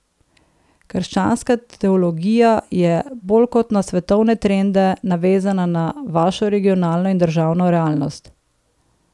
Krščanska teologija je bolj kot na svetovne trende navezana na vašo regionalno in državno realnost.